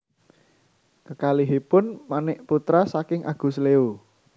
Kekalihipun menik putra saking Agus Leo